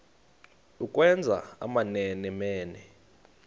ukwenza amamene mene